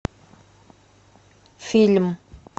фильм